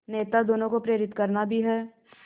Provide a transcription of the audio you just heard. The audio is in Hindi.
नेता दोनों को प्रेरित करना भी है